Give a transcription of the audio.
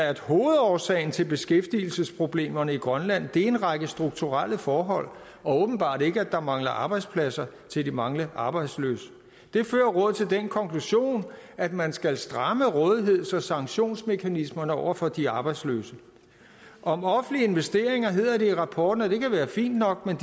at hovedårsagen til beskæftigelsesproblemerne i grønland er en række strukturelle forhold og åbenbart ikke at der mangler arbejdspladser til de mange arbejdsløse det fører rådet til den konklusion at man skal stramme rådigheds og sanktionsmekanismerne over for de arbejdsløse om offentlige investeringer hedder det i rapporten at det kan være fint nok men